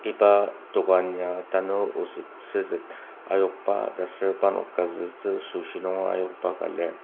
iba dokan ya tanur osettsüset ayokba taser parnok kazütsü süoshi nunger ayokba ka lir.